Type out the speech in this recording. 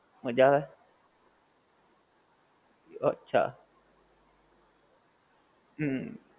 મજા આવે, અચ્છા હમ